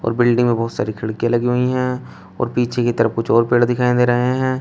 Building मे बहुत सारी खिड़किया लगी हुई है और पीछे की तरफ कुछ और पेड़ दिखाई दे रहे हैं।